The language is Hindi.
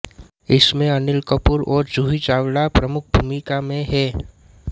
इसमें अनिल कपूर और जूही चावला प्रमुख भूमिका में हैं